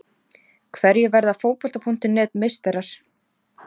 Hverjir verða Fótbolta.net meistarar?